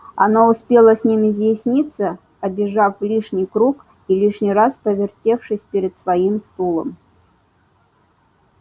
она успела с ним изъясниться обежав лишний круг и лишний раз повертевшись перед своим стулом